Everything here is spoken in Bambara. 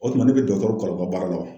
O tuma ne bɛ dɔtɔrɔw kalan o ka baara la wa?